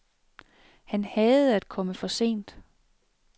Han hadede at komme for sent.